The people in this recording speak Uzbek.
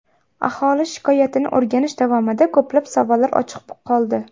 Aholi shikoyatini o‘rganish davomida ko‘plab savollar ochiq qoldi.